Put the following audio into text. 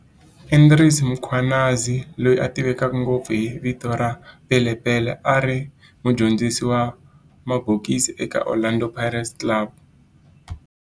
Andries Mkhwanazi, loyi a tiveka ngopfu hi vito ra"Pele Pele", a ri mudyondzisi wa mabokisi eka Orlando Boys Club